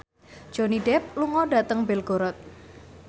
Johnny Depp lunga dhateng Belgorod